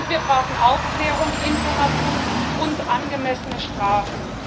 Wir brauchen Aufklärung, Informationen und angemessene Strafen.